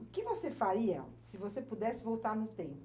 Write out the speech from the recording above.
O que você faria se você pudesse voltar no tempo?